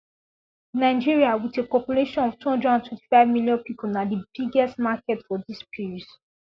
Nigeria with a population of two hundred and twenty five million people na d biggest market for dis pills